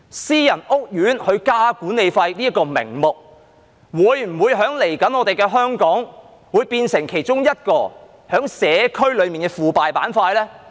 私人屋苑增加管理費的名目，在未來的香港會否變成社區內其中一個腐敗板塊呢？